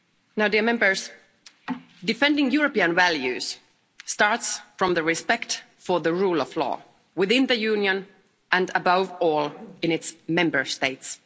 Now defending European values starts from respect for the rule of law within the Union, and above all, in its Member States.